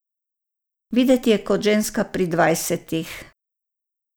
Videti je kot ženska pri dvajsetih.